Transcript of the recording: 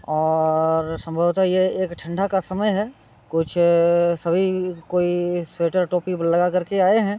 और संभवतः ये एक ठंडा का समय है कुछ अ सभी कोई स्वेटर टोपी लगा करके आए हैं।